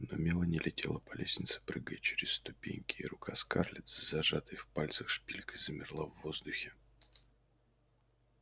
но мелани летела по лестнице прыгая через ступеньки и рука скарлетт с зажатой в пальцах шпилькой замерла в воздухе